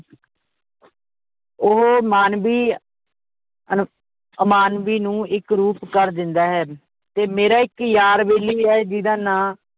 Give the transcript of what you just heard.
ਉਹ ਮਾਨਵੀ ਅਨ~ ਅਮਾਨਵੀ ਨੂੰ ਇੱਕ ਰੂਪ ਕਰ ਦਿੰਦਾ ਹੈ ਤੇ ਮੇਰਾ ਇੱਕ ਯਾਰ ਬੈਲੀ ਵੀ ਹੈ ਜਿਹਦਾ ਨਾਂ